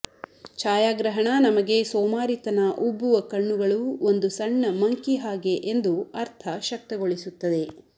ಛಾಯಾಗ್ರಹಣ ನಮಗೆ ಸೋಮಾರಿತನ ಉಬ್ಬುವ ಕಣ್ಣುಗಳು ಒಂದು ಸಣ್ಣ ಮಂಕಿ ಹಾಗೆ ಎಂದು ಅರ್ಥ ಶಕ್ತಗೊಳಿಸುತ್ತದೆ